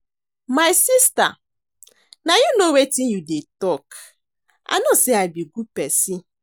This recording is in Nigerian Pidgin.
My sister na you know wetin you dey talk, I know say I be good person